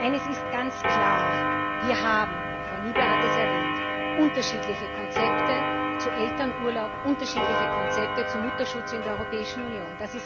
Eines ist ganz klar Wir haben Frau Niebler hat es erwähnt unterschiedliche Konzepte zu Elternurlaub, unterschiedliche Konzepte zum Mutterschutz in der Europäischen Union.